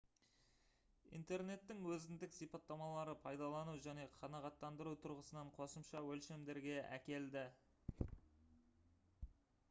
интернеттің өзіндік сипаттамалары пайдалану және қанағаттандыру тұрғысынан қосымша өлшемдерге әкелді